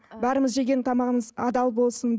бәріміз жеген тамағымыз адал болсын